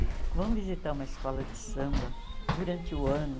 Vão visitar uma escola de samba durante o ano.